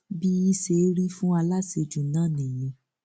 bí i ṣeé rí fún aláṣejù náà nìyẹn